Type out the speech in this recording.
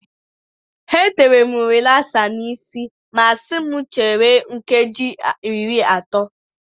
Ha tere m rilasa n'isi ma si m chere nkeji iri atọ.